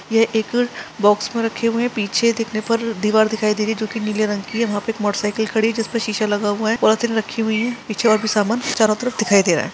ये एक बॉक्स में रखे हुए है पीछे देखने पर दीवार दिखाई दे रही है जोकि नीले रंग की है वहाँ पे एक मोटर साइकल खड़ी है जिसपे सीसा लगा हुआ है पॉलिथीन रखी हुई है पीछे और भी सामान चारों तरफ दिखाई दे रहा हैं।